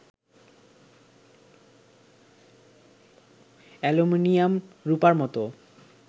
aluminium রূপার মত